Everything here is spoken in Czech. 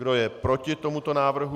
Kdo je proti tomuto návrhu?